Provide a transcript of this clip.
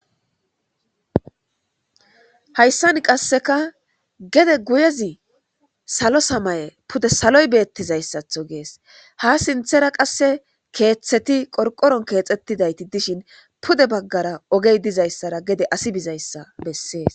Hayssan qasseka gede guyezi salo samaye pude saloy beettizayssatho gees ha sinthera qasse keeththeti qorqoron keexettidayti dishin pude baggara ogey dizayssara gede asi bizayssa bessees